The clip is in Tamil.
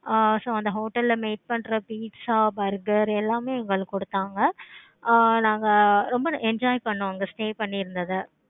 ஆஹ் so அந்த hotel ல made பண்ற pizza, burger எல்லாமே எங்களுக்கு கொடுத்தாங்க. ஆஹ் நாங்க ரொம்ப enjoy பண்ணோம். அங்க stay பண்ணி இருந்தத